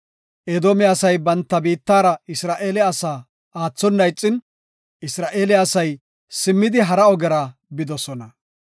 Edoome asay banta biittara Isra7eele asaa aathona ixin, Isra7eele asay simmidi hara ogera bidosona.